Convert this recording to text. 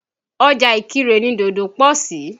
Ọjà Ìkìrè ni dòdò pọ̀ sí.